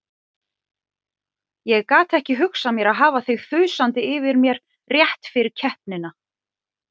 Ég gat ekki hugsað mér að hafa þig þusandi yfir mér rétt fyrir keppnina.